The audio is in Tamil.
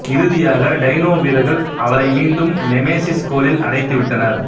இறுதியாக டைனோ வீரர்கள் அவளை மீண்டும் நெமெசிஸ் கோளில் அடைத்து விட்டனர்